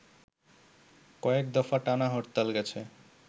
কয়েক দফা টানা হরতাল গেছে